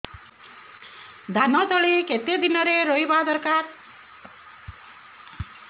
ଧାନ ତଳି କେତେ ଦିନରେ ରୋଈବା ଦରକାର